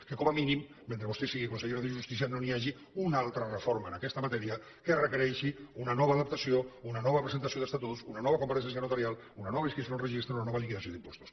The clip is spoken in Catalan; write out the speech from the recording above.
que com a mínim mentre vostè sigui consellera de justícia no hi hagi una altra reforma en aquesta matèria que requereixi una nova adaptació una nova presentació d’estatuts una nova compareixença notarial una nova inscripció en el registre una nova liquidació d’impostos